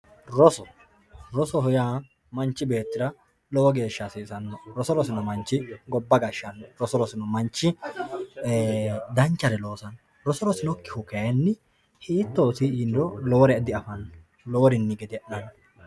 roso rosoho yaa manchi beettira lowo geeshsha hasiisannoho roso rosino manchi gobba gashshanno roso rosino manchi ee danchare loosanno roso rosinokki manchi kayiinni hiittooti yiniro lowore di afanno loworinni gede'nanno.